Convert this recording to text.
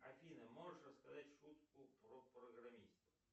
афина можешь рассказать шутку про программистов